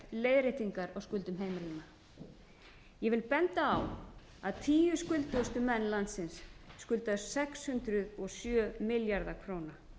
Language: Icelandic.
leiðréttingar á skuldum heimilanna ég vil benda á að tíu skuldugustu menn landsins skulda sex hundruð og sjö milljarða króna